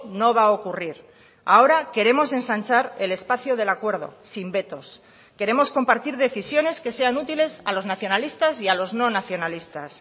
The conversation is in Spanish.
no va a ocurrir ahora queremos ensanchar el espacio del acuerdo sin vetos queremos compartir decisiones que sean útiles a los nacionalistas y a los no nacionalistas